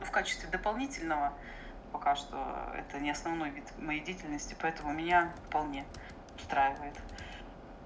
в качестве дополнительного пока что это не основной вид моей деятельности поэтому меня вполне устраивает